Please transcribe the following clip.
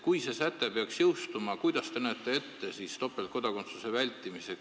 Kui see säte peaks jõustuma, kuidas te näete siis võimalust topeltkodakondsust vältida?